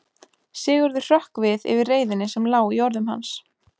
Sigurður hrökk við yfir reiðinni sem lá í orðum hans.